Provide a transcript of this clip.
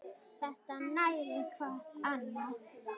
Þetta nærir hvað annað.